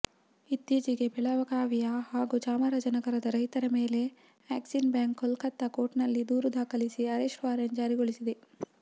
ಇತ್ತೀಚೆಗೆ ಬೆಳಗಾವಿಯ ಹಾಗೂ ಚಾಮರಾಜನಗರದ ರೈತರ ಮೇಲೆ ಆಕ್ಸಿಸ್ ಬ್ಯಾಂಕ್ ಕೊಲ್ಕತ್ತಾ ಕೋರ್ಟ್ನಲ್ಲಿ ದೂರು ದಾಖಲಿಸಿ ಅರೆಸ್ಟ್ ವಾರೆಂಟ್ ಜಾರಿಗೊಳಿಸಿದೆ